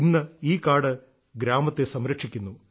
ഇന്ന് ഈ കാട് ഗ്രാമത്തെ സംരക്ഷിക്കുന്നു